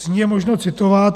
Z ní je možno citovat.